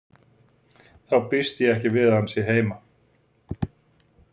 Þá býst ég ekki við að hann sé heima